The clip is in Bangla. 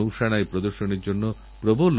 কিন্তু সম্প্রতি আমার এক ভালো অভিজ্ঞতা হল